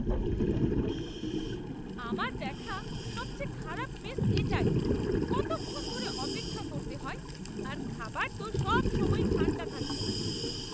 আমার দেখা সবচেয়ে খারাপ মেস এটাই। কতক্ষণ ধরে অপেক্ষা করতে হয় আর খাবার তো সবসময়ই ঠাণ্ডা থাকে।